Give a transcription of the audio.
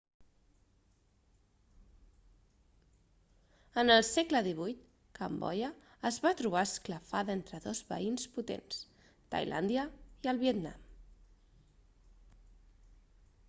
en el segle xviii cambodja es va trobar esclafada entre dos veïns potents tailàndia i el vietnam